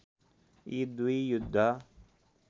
यी दुई युद्ध